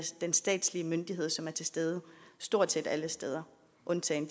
den statslige myndighed som er til stede stort set alle steder undtagen